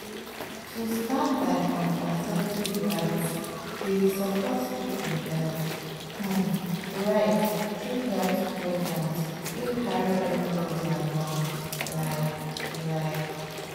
to stand by contraceptive rights dey support people health um rights through health programs wey carry everybody along like like.